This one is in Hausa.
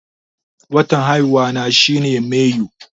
Watan haihuwa na shi ne mayu